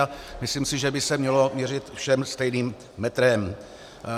A myslím si, že by se mělo měřit všem stejným metrem.